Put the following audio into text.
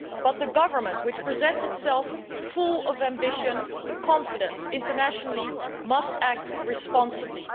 But the government, which presents itself as full of ambition and confidence internationally, must act responsibly.